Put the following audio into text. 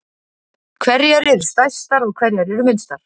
Hverjar eru stærstar og hverjar eru minnstar?